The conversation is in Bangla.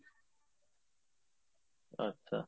আচ্ছা